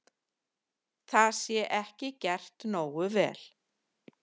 Það sé ekki gert nógu vel.